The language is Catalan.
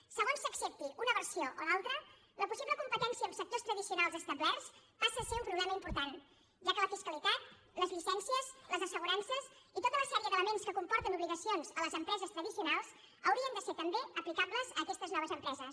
segons s’accepti una versió o l’altra la possible competència amb sectors tradicionals establerts passa a ser un problema important ja que la fiscalitat les llicències les assegurances i tota la sèrie d’elements que comporten obligacions a les empreses tradicionals haurien de ser també aplicables a aquestes noves empreses